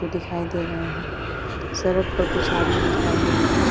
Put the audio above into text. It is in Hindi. दिखाई दे रहे हैं। सड़क पर कुछ आदमी दिखाई दे रहे हैं ।